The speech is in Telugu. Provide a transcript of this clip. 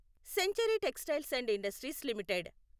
century textiles and industries limited